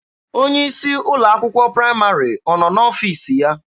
Onye isi ụlọ akwụkwọ praịmarị ọ nọ n'ọfiisi ya?